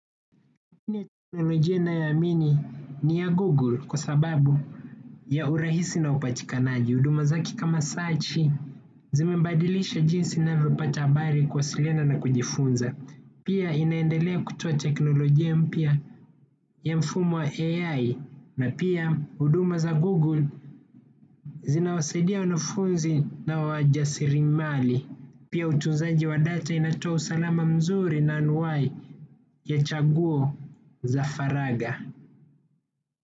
Njia ya teknolojia ninayo amini ni ya Google kwa sababu ya urahisi na upatikanaji. Huduma zake kama sachi zimebadilisha jinsi ninavyo pata habari kuwasiliana na kujifunza. Pia inaendelea kutoa teknolojia mpya ya mfumo wa AI na pia huduma za google zinawasaidia wanafunzi na wajasirimali. Pia utunzaji wa data inatoa usalama mzuri na anuai ya chaguo za faraga.